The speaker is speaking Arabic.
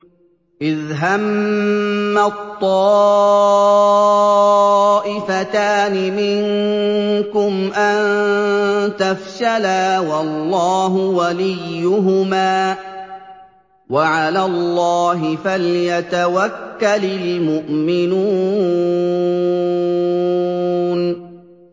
إِذْ هَمَّت طَّائِفَتَانِ مِنكُمْ أَن تَفْشَلَا وَاللَّهُ وَلِيُّهُمَا ۗ وَعَلَى اللَّهِ فَلْيَتَوَكَّلِ الْمُؤْمِنُونَ